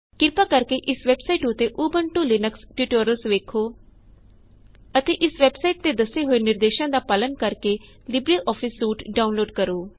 ਕਿਰਪਾ ਕਰਕੇ ਇਸ ਵੇਬਸਾਇਟ ਉਤੇ ਉਬੰਟੂ ਲੀਨਕਸ ਟਯੂਟੋਰਿਅਲਸ ਵੇੱਖੋ ਅਤੇ ਇਸ ਵੇਬਸਾਇਟ ਤੇ ਦੱਸੇ ਹੋਏ ਨਿਰਦੇਸ਼ਾਂ ਦਾ ਪਾਲਨ ਕਰਕੇ ਲਿਬਰੇਆਫਿਸ ਸੂਟ ਡਾਉਨਲੋਡ ਕਰੋ